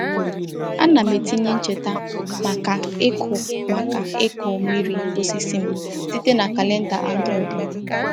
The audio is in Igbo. A na m etinye ncheta maka ịkụ maka ịkụ mmiri osisi m site na kalenda Android m.